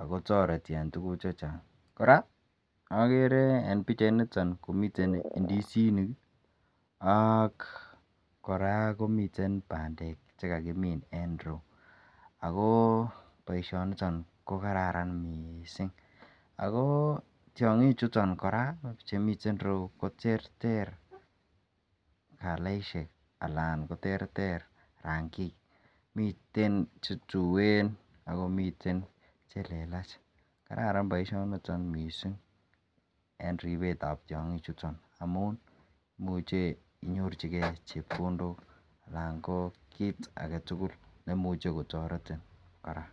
ago toreti en tuguuk chechang, koraa nogeree en pichait niton komiten ndisinik ak koraa komiten bandeek chegagimiin en ireuu ago boisoniton kogararan mising, ago tyongiik chuton koraa chemiten ireuu koterter kalaishek alan koterter rangiik, miten chetueen ak komiten chelelach , kararan boishoniton mising en ribeet ab tyongiik chuton amuun imuche inyorchigee chepkondook alan koo kiit agetugul neimuche kotoretin koraa.